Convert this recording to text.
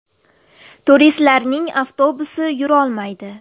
Turistlarning avtobusi yurolmaydi.